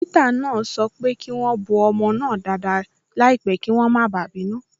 Dókítà náà sọ pé kí wọ́n bọ́ ọmọ náà dáadáa láìpẹ́ kí wọ́n má bàa bínú.